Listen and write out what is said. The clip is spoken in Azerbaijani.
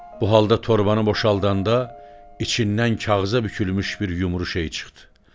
Bu halda torbanı boşaldanda, içindən kağıza bükülmüş bir yumru şey çıxdı.